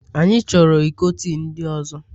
Anyị chọrọ iko tii ndị ọzọ